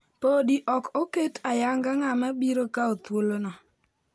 Podi ok oket ayanga ng'ama biro kawo thuolono.